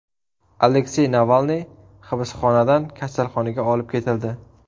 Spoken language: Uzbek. Aleksey Navalniy hibsxonadan kasalxonaga olib ketildi.